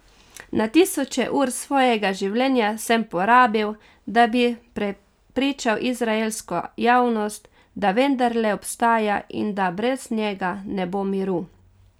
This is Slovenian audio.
Na tisoče ur svojega življenja sem porabil, da bi prepričal izraelsko javnost, da vendarle obstaja in da brez njega ne bo miru.